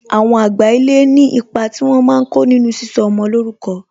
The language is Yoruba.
Àwọn àgbà ilé ní ipa tí wọn máa ko nínú sísọ ọmọ lórúkọ